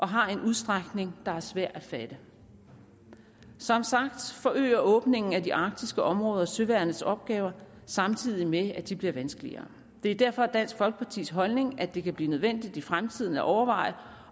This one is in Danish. har en udstrækning der er svær at fatte som sagt forøger åbningen af de arktiske områder søværnets opgaver samtidig med at de bliver vanskeligere det er derfor dansk folkepartis holdning at det kan blive nødvendigt i fremtiden at overveje